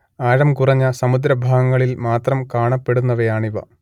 ആഴംകുറഞ്ഞ സമുദ്രഭാഗങ്ങളിൽ മാത്രം കാണപ്പെടുന്നവയാണിവ